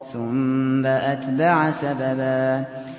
ثُمَّ أَتْبَعَ سَبَبًا